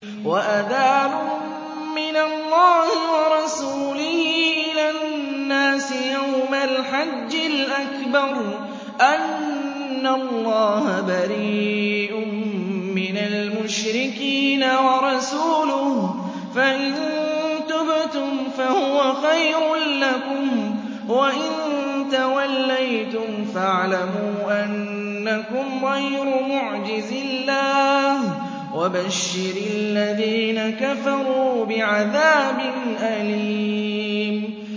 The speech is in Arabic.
وَأَذَانٌ مِّنَ اللَّهِ وَرَسُولِهِ إِلَى النَّاسِ يَوْمَ الْحَجِّ الْأَكْبَرِ أَنَّ اللَّهَ بَرِيءٌ مِّنَ الْمُشْرِكِينَ ۙ وَرَسُولُهُ ۚ فَإِن تُبْتُمْ فَهُوَ خَيْرٌ لَّكُمْ ۖ وَإِن تَوَلَّيْتُمْ فَاعْلَمُوا أَنَّكُمْ غَيْرُ مُعْجِزِي اللَّهِ ۗ وَبَشِّرِ الَّذِينَ كَفَرُوا بِعَذَابٍ أَلِيمٍ